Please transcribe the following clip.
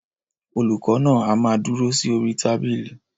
Olùkọ náà a má dúró sí orí tábìlì.